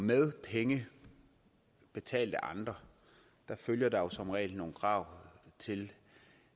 med penge betalt af andre følger der som regel nogle krav til